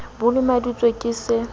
b o lemaditswe ke se